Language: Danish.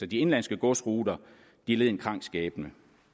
de indenlandske godsruter led en krank skæbne